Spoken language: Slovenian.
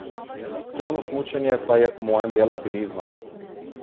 Turno smučanje pa je po mojem del alpinizma.